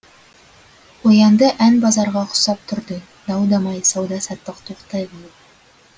қоянды ән базарға ұқсап тұрды дау дамай сауда саттық тоқтай қалып